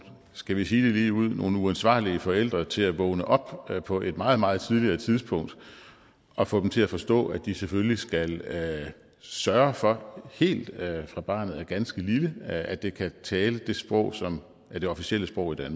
skal vi sige det ligeud nogle uansvarlige forældre til at vågne op på et meget meget tidligere tidspunkt og få dem til at forstå at de selvfølgelig skal sørge for helt fra barnet er ganske lille at det kan tale det sprog som er det officielle sprog i